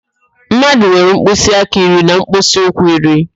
Mmadụ nwere mkpịsị aka iri na mkpịsị ụkwụ iri